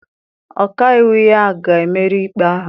Ọka iwu ya ga-emeri ikpe ahụ.